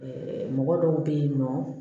mɔgɔ dɔw bɛ yen nɔ